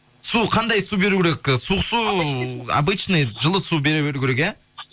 су қандай су беру керек ы суық су обычный жылы су бере беру керек иә